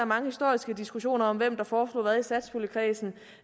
mange historiske diskussioner om hvem der foreslog hvad i satspuljekredsen